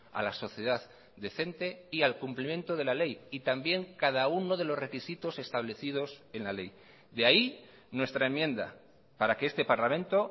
a la sociedad decente y al cumplimiento de la ley y también cada uno de los requisitos establecidos en la ley de ahí nuestra enmienda para que este parlamento